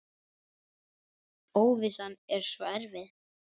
Óvissan er svo erfið.